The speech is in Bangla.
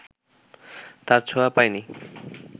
তার ছোঁয়া পায় নি